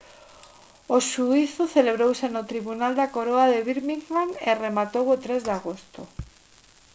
o xuízo celebrouse no tribunal da coroa de birmingham e rematou o 3 de agosto